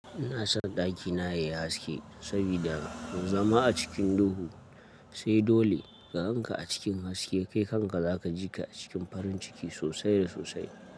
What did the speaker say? Ina son ɗakina yayi haske saboda in zama a cikin duhu, sai dole ka ganka a cikin haske kai kanka zaka ji ka a cikin farin ciki sosai da sosai.